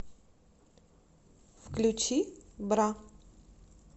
включи бра